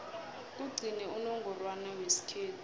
kugcine unongorwana wesikhethu